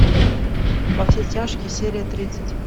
во все тяжкие серия тридцать